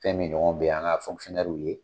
Fɛn min ɲɔgɔnw bɛ an k'a fɔnkisɔnɛriw ye.